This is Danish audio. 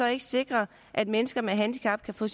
ikke sikre at mennesker med handicap kan få